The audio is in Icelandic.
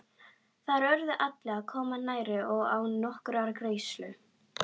Þar urðu allir að koma nærri og án nokkurrar greiðslu.